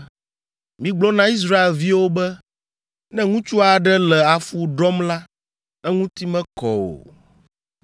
“Migblɔ na Israelviwo be, ‘Ne ŋutsu aɖe le afu ɖɔm la, eŋuti mekɔ o.